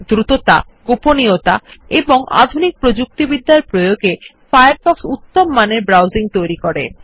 দ্রুতত গোপনীয়তা এবং অত্যাধুনিক প্রযুক্তিবিদ্যার প্রয়োগে ফায়ারফক্স উত্তম মানের ব্রাউসিং সম্ভব করে